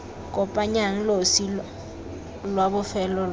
kopanyang losi lwa bofelo lwa